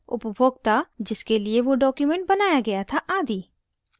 उपभोगता जिसके लिए वो document बनाया गया था आदि